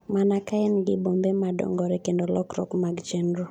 mana ka en gi bombe ma dongore kendo lokruok mag chenro